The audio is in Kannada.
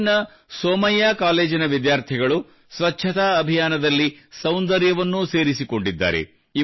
ಮುಂಬೈಯ ಸೋಮಯ್ಯಾ ಕಾಲೇಜಿನ ವಿದ್ಯಾರ್ಥಿಗಳು ಸ್ವಚ್ಛತಾ ಅಭಿಯಾನದಲ್ಲಿ ಸೌಂದರ್ಯವನ್ನೂ ಸೇರಿಸಿಕೊಂಡಿದ್ದಾರೆ